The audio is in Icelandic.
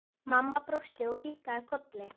Mamma brosti og kinkaði kolli.